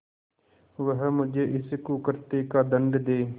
वह मुझे इस कुकृत्य का दंड दे